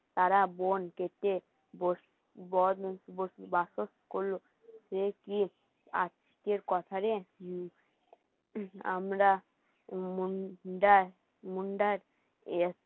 তারা বোন কেটে বাস্তব করল আজকের কথা রে আমরা মুন্ডার মুন্ডার এতো